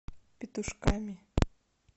петушками